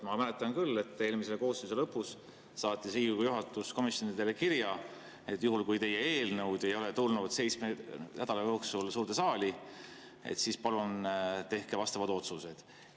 Ma küll mäletan, et eelmise koosseisu lõpus saatis Riigikogu juhatus komisjonidele kirja, et juhul kui teie eelnõud ei ole tulnud seitsme nädala jooksul suurde saali, siis palun tehke vastavad otsused.